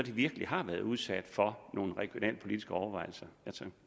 virkelig har været udsat for nogle regionalpolitiske overvejelser